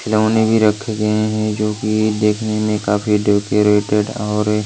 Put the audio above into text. खिलौने भी रखे गए हैंजो कि देखने में काफी डेकोरेटेड और--